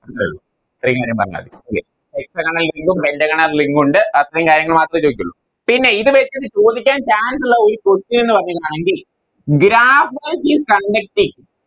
പറഞ്ഞാ മതി okay Hexagonal link ഉം Pentagonal link ഉണ്ട് അത്രേം കാര്യങ്ങള് മാത്രേ ചോയിക്കുളു പിന്നെ ഇത് വെച്ച് ചോദിക്കാൻ Chance ഉള്ള ഒരു Question പറയുന്നാണെങ്കിൽ Graphite is conducting